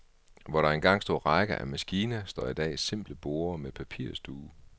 Hvor der engang stod rækker af maskiner, står i dag simple borde med papirsduge.